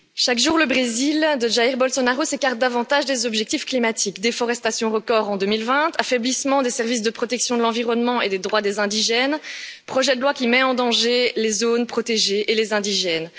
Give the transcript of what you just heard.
Madame la Présidente, chaque jour le Brésil de Jair Bolsonaro s'écarte davantage des objectifs climatiques déforestation record en 2020, affaiblissement des services de protection de l'environnement et des droits des indigènes, projet de loi qui met en danger les zones protégées et les indigènes.